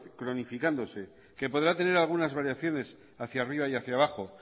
cronificándose que podrá tener algunas variaciones hacia arriba y hacia abajo